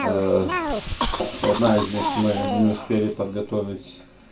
э одна из них мы не успели подготовить